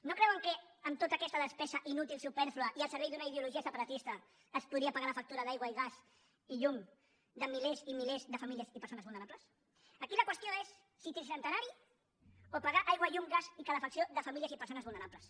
no creuen que amb tota aquesta despesa inútil supèrflua i al servei d’una ideologia separatista es podria pagar la factura d’aigua i gas i llum de milers i milers de famílies i persones vulnerables aquí la qüestió és si tricentenari o pagar aigua llum gas i calefacció de famílies i persones vulnerables